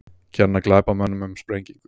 Kenna glæpamönnum um sprengingu